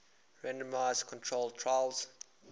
randomized controlled trials